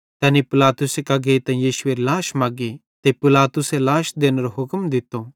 तैनी पिलातुसे कां गेइतां यीशुएरी लाश मगी ते पिलातुसे लाश देनेरो हुक्म दित्तो